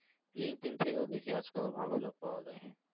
linkedin থেকেও দেখি আজ কাল ভালো job পাওয়া যায়